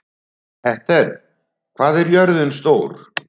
Petter, hvað er jörðin stór?